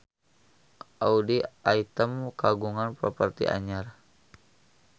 Audy Item kagungan properti anyar